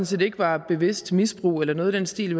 set ikke var bevidst misbrug eller noget i den stil